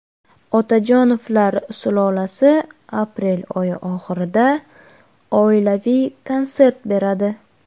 Otajonovlar sulolasi aprel oyi oxirida oilaviy konsert beradi.